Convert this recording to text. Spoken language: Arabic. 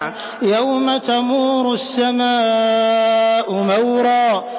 يَوْمَ تَمُورُ السَّمَاءُ مَوْرًا